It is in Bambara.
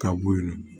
Ka bo yen